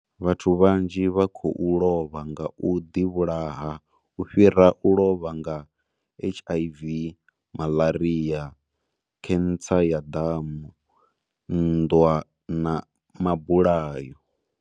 Vhathu vhanzhi vha khou lovha nga u ḓivhulaha u fhira u lovha nga HIV, maḽaria, khentsa ya ḓamu, nnḓwa na mabulayo.